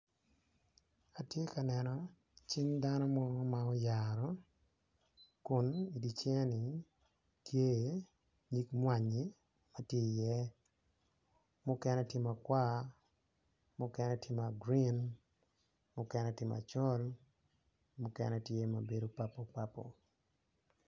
Atye ka neno cing dano mo ma oyaro kun di cinge-ni tye iye nyig mwanyi ma ti iye mukene tye makwar mukene tye ma gurin mukene tye macol mukenetye ma bedo papo papo